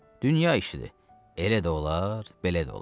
Dünya işidir, elə də olar, belə də olar.